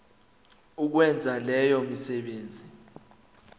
ukwenza leyo misebenzi